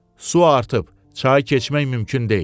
Su artıb, çayı keçmək mümkün deyil.